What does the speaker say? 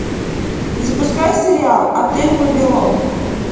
запускай сериал отель вавилон